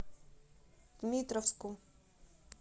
дмитровску